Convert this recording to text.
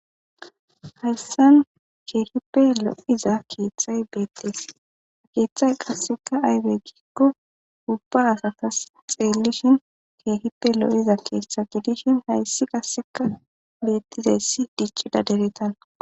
hayssan ke'hippe lo'iza keeththay beettees ha keeththay qassekka aybe giikko ubba akatas xeellishin ke'hipe lo'iza keeththa gidishin hayssi qasseka bettirayssi dicidda deretanakko